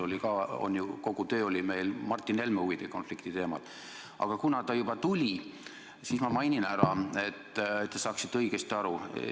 Kogu töö oli meil Martin Helme huvide konflikti teemal, aga kuna ta juba tuli, siis ma selgitan, et te saaksite õigesti aru.